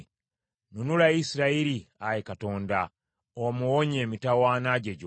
Nunula Isirayiri, Ayi Katonda, omuwonye emitawaana gye gyonna.